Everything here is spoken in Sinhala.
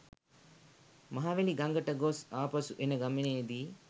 මහවැලි ගඟට ගොස් ආපසු එන ගමනේදී